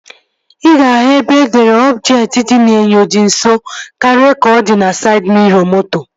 Ị ga-ahụ ebe edere "ọbjektị dị n'inyo dị nso karịa ka ọ di" na saịd miro moto